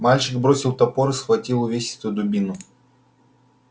мальчик бросил топор и схватил увесистую дубину